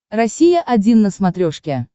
россия один на смотрешке